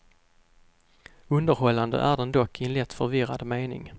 Underhållande är den dock i en lätt förvirrad mening.